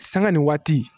Sanga ni waati